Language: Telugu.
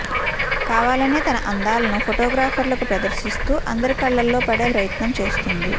కావాలనే తన అందాలను ఫోటో గ్రాఫర్లకు ప్రదర్శిస్తూ అందరి కళ్లలో పడే ప్రయత్నం చేసింది